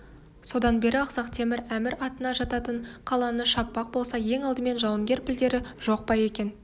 содан бері ақсақ темір әміратына жататын қаланы шаппақ болса ең алдымен жауынгер пілдері жоқ па екен